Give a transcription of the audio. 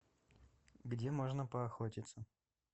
где можно поохотиться